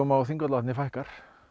á Þingvallavatni fækkar